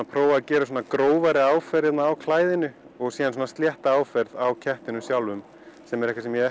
prófa að gera grófari áferð á klæðinu og slétta áferð á kettinum sjálfum sem er eitthvað sem ég